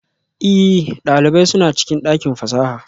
Ee, ɗalibai suna cikin ɗakin fasaha